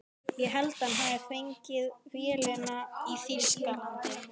Ég held að hann hafi fengið vélina í Þýskalandi.